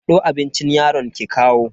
Hado abincin yaron ki kawo.